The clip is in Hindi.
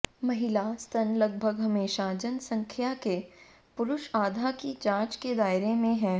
महिला स्तन लगभग हमेशा जनसंख्या के पुरुष आधा की जांच के दायरे में है